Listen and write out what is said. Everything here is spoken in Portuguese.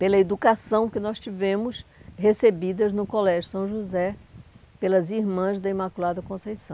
pela educação que nós tivemos recebidas no Colégio São José pelas irmãs da Imaculada Conceição.